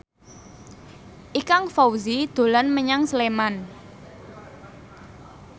Ikang Fawzi dolan menyang Sleman